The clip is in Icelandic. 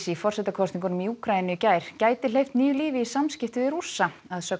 í forsetakosningunum í Úkraínu í gær gæti hleypt nýju lífi í samskipti við Rússa að sögn